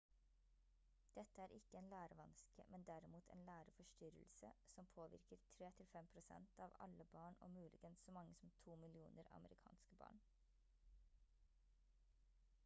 dette er ikke en lærevanske men derimot en læreforstyrrelse som «påvirker 3–5% av alle barn og muligens så mange som 2 millioner amerikanske barn»